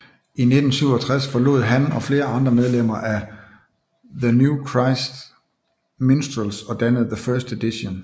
I 1967 forlod han og flere andre medlemmer af the New Christy Minstrels og dannede The First Edition